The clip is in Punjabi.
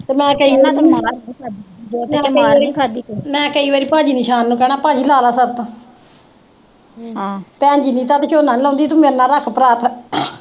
ਮੈਂ ਕਈ ਵਾਰੀ ਭੈਣ ਨੂੰ ਸ਼ਾਮ ਨੂੰ ਕਹਿਣਾ ਭੈਣ ਲਾ ਲੈ ਸ਼ਰਤ ਭੈਣ ਜੀ ਨੂੰ, ਤਦ ਝੋਨਾ ਲਾਉਂਦੀ ਸੀ, ਮੇਰੇ ਨਾਲ ਰੱਖ ਪਰਾਤ